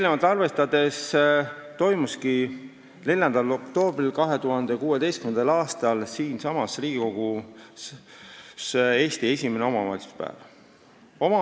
Seda arvestades korraldatigi 4. oktoobril 2016. aastal siinsamas Riigikogus Eesti esimene omavalitsuspäev.